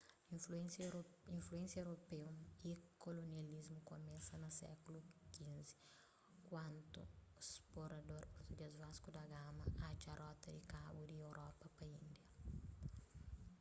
influénsia europeu y kolonialismu kumesa na sékulu xv kantu sporador português vasco da gama atxa rota di kabu di europa pa índia